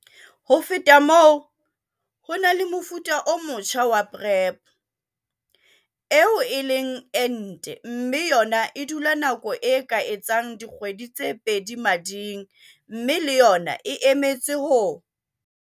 Ho feta moo, ho na le mofuta o motjha wa PrEP - eo e leng ente mme yona e dula nako e ka etsang dikgwedi tse pedi mading mme le yona e emetse ho